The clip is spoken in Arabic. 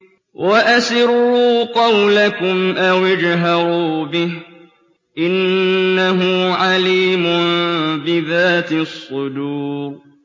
وَأَسِرُّوا قَوْلَكُمْ أَوِ اجْهَرُوا بِهِ ۖ إِنَّهُ عَلِيمٌ بِذَاتِ الصُّدُورِ